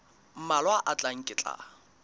mmalwa a tlang ke tla